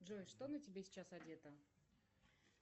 джой что на тебе сейчас одето